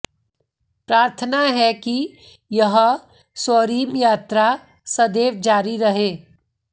प्रार्थना है कि यह स्वर्णिम यात्रा सदैव जारी रहे